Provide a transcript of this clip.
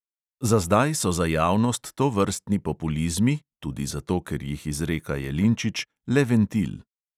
Za zdaj so za javnost tovrstni populizmi – tudi zato, ker jih izreka jelinčič – le ventil.